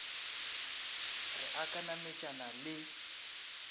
re a ka nametšana le